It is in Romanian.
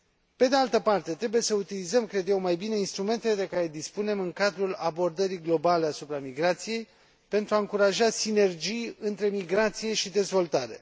Pe de altă parte, trebuie să utilizăm, cred eu, mai bine instrumentele de care dispunem în cadrul abordării globale asupra migrației pentru a încuraja sinergii între migrație și dezvoltare.